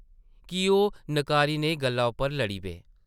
की ओह् नकारी नेही गल्ला उप्पर लड़ी पे ?